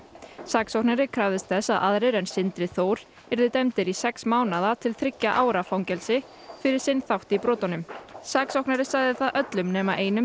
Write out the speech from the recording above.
saksóknari krafðist þess að aðrir en Sindri Þór yrðu dæmdir í sex mánaða til þriggja ára fangelsi fyrir sinn þátt í brotunum saksóknari sagði það öllum nema einum